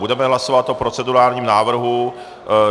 Budeme hlasovat o procedurálním návrhu.